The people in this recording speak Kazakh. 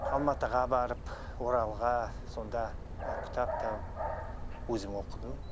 алматыға барып оралға сонда кітап тауып өзім оқыдым